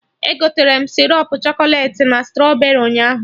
Egoterem sịrọp chọkọlet na strọberị ụnyaahụ